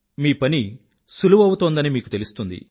మీ పని సులువౌతోందని మీకు తెలుస్తుంది